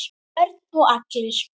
Börn og allir?